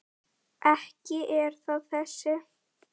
Ekki er það þessi.